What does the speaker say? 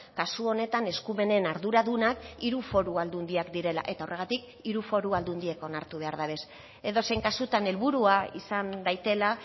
kasu honetan eskumenen arduradunak hiru foru aldundiak direla eta horregatik hiru foru aldundiek onartu behar dabez edozein kasutan helburua izan daitela